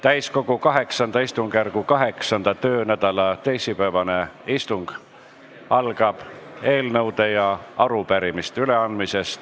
Täiskogu VIII istungjärgu 8. töönädala teisipäevane istung algab eelnõude ja arupärimiste üleandmisega.